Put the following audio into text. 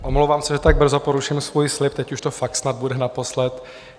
Omlouvám se, že tak brzo poruším svůj slib, teď už to fakt snad bude naposledy.